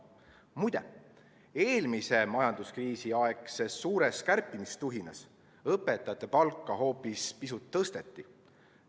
Muide, eelmise majanduskriisi aegses suures kärpimistuhinas õpetajate palka hoopis pisut tõsteti.